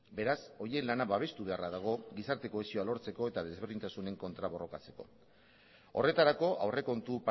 beraz horien lana babestu beharra dago gizarte kohesioa lortzeko eta desberdintasunen kontra borrokatzeko horretarako aurrekontu